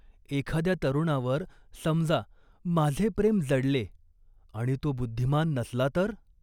एखाद्या तरुणावर, समजा, माझे प्रेम जडले आणि तो बुद्धिमान नसला तर?